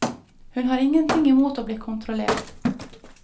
Hun har ingenting i mot å bli kontrollert.